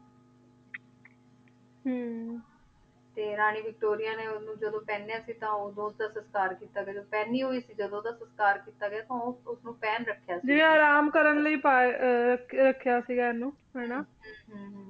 ਹਮ ਤੇ ਰਾਨੀ ਵਿਕਟੋਰਿਆ ਨੇ ਓਸਨੂ ਨੂ ਜਦੋਂ ਪੇਹ੍ਨ੍ਯ ਸੀਗਾ ਤਾਂ ਓਦੋਂ ਓਦਾ ਸਤਕਾਰ ਕੀਤਾ ਗਯਾ ਸੀਗਾ ਪਹਨੀ ਹੋਈ ਕੀ ਜਦੋਂ ਸਤਕਾਰ ਕੀਤਾ ਗਯਾ ਓਦੋਂ ਓਸਨੂ ਪਹਨ ਰਖ੍ਯਾ ਸੀ ਜਿਵੇਂ ਆਰਾਮ ਕਰਨ ਲੈ ਪਾਯਾ ਰਖ੍ਯਾ ਸੀਗਾ ਏਨੁ ਹਾਨਾ